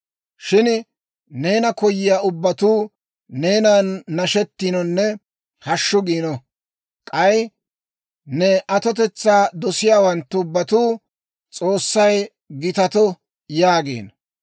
Shin neena koyiyaa ubbatuu, neenan nashetinonne hashshu giino. K'ay ne atotetsaa dosiyaawanttu ubbatuu, «S'oossay gitato!» yaagino.